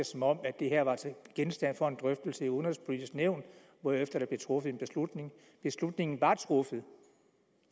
som om det her var genstand for en drøftelse i udenrigspolitisk nævn hvorefter der blev truffet en beslutning beslutningen var truffet